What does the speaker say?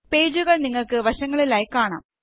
പേജുകൾനിങ്ങള്ക്ക് വശങ്ങളിലായി കാണാം